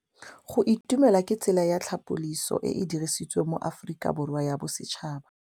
Go itumela ke tsela ya tlhapolisô e e dirisitsweng ke Aforika Borwa ya Bosetšhaba.